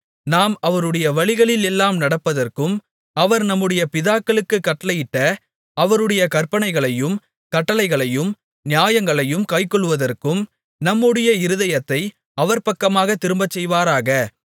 நாம் அவருடைய வழிகளில் எல்லாம் நடப்பதற்கும் அவர் நம்முடைய பிதாக்களுக்குக் கட்டளையிட்ட அவருடைய கற்பனைகளையும் கட்டளைகளையும் நியாயங்களையும் கைக்கொள்ளுவதற்கும் நம்முடைய இருதயத்தை அவர்பக்கமாக திரும்பச்செய்வாராக